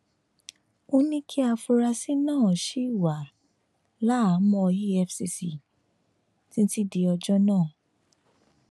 ó ní kí àfúráṣí náà ṣì wà láhàámọ efcc títí di ọjọ náà